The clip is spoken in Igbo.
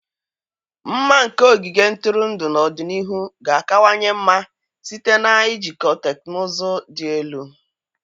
Mma nke ogige ntụrụndụ n'ọdịnihu ga-akawanye mma site na ijikọ teknụzụ dị elu.